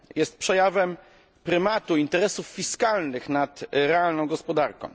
Jest przejawem prymatu interesów fiskalnych nad realną gospodarką.